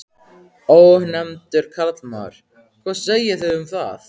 Ónefndur karlmaður: Hvað segið þið um það?